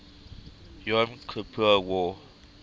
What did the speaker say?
yom kippur war